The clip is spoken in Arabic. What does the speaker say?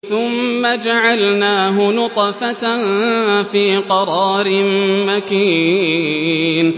ثُمَّ جَعَلْنَاهُ نُطْفَةً فِي قَرَارٍ مَّكِينٍ